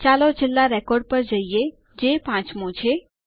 ચાલો છેલ્લા રેકોર્ડ પર જઈએ જે પાંચમો છે